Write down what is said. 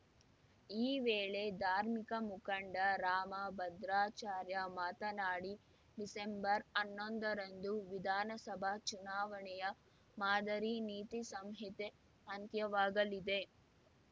ಈ ವೇಳೆ ಧಾರ್ಮಿಕ ಮುಖಂಡ ರಾಮ ಭದ್ರಾಚಾರ್ಯ ಮಾತನಾಡಿ ಡಿಸೆಂಬರ್ಹನ್ನೊಂದರಂದು ವಿಧಾನಸಭಾ ಚುನಾವಣೆಯ ಮಾದರಿ ನೀತಿ ಸಂಹಿತೆ ಅಂತ್ಯವಾಗಲಿದೆ